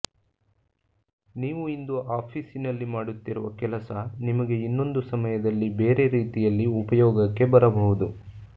ನೀವು ಇಂದು ಆಫೀಸಿನಲ್ಲಿ ಮಾಡುತ್ತಿರುವಕೆಲಸ ನಿಮಗೆ ಇನ್ನೊಂದು ಸಮಯದಲ್ಲಿ ಬೇರೆ ರೀತಿಯಲ್ಲಿ ಉಪಯೋಗಕ್ಕೆ ಬರಬಹುದು